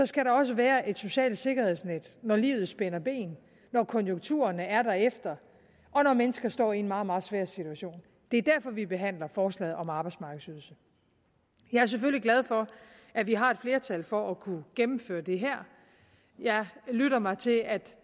skal der også være et socialt sikkerhedsnet når livet spænder ben når konjunkturerne er derefter og når mennesker står i en meget meget svær situation det er derfor vi behandler forslaget om en arbejdsmarkedsydelse jeg er selvfølgelig glad for at vi har et flertal for at kunne gennemføre det her jeg lytter mig til at